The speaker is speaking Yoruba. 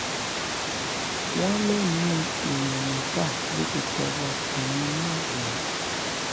wọ́n lẹ́mìí èèyàn mẹ́fà ló ti tọwọ́ ọkùnrin náà bọ́